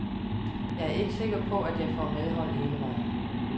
Jeg er ikke sikker på, at jeg får medhold hele vejen.